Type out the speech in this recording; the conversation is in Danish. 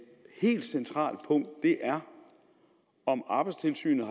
helt centralt punkt er om arbejdstilsynet